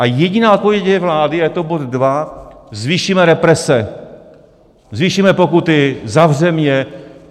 A jediná odpověď je vlády, a je to bod dva: zvýšíme represe, zvýšíme pokuty, zavřeme je.